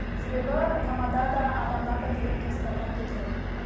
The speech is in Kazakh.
себебі тамада да адамдар да келіп тосттарды айту керек